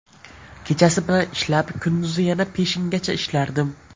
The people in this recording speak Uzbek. Kechasi bilan ishlab, kunduzi yana peshingacha ishlardim.